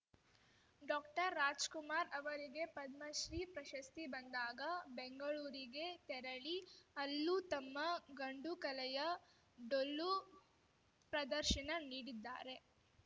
ಡಾಕ್ಟರ್ರಾಜಕುಮಾರ್‌ ಅವರಿಗೆ ಪದ್ಮಶ್ರೀ ಪ್ರಶಸ್ತಿ ಬಂದಾಗ ಬೆಂಗಳೂರಿಗೆ ತೆರಳಿ ಅಲ್ಲೂ ತಮ್ಮ ಗಂಡುಕಲೆಯ ಡೊಳ್ಳು ಪ್ರದರ್ಶನ ನೀಡಿದ್ದಾರೆ